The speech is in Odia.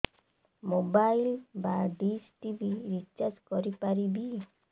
ମୋବାଇଲ୍ ବା ଡିସ୍ ଟିଭି ରିଚାର୍ଜ କରି ପାରିବି